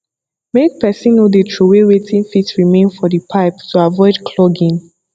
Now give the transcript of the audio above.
make person no de trowey wetin fit remain for the pipe to avoid clogging